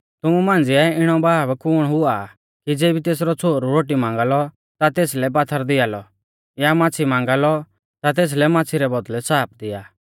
तुमु मांझ़िऐ इणौ बाब कुण हुआ आ कि ज़ेबी तेसरौ छ़ोहरु रोटी मांगा लौ ता तेसलै पात्थर दिआ लौ या माच़्छ़ी मांगा लौ ता तेसलै माच़्छ़ी रै बौदल़ै साप दिआ